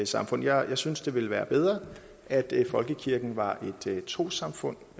samfund jeg synes at det ville være bedre at folkekirken var et trossamfund